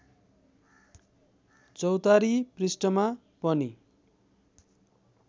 चौतारी पृष्ठमा पनि